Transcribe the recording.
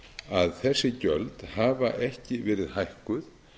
að þessi gjöld hafa ekki verið hækkuð